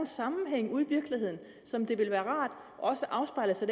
sammenhænge ude i virkeligheden som det ville være rart også afspejler sig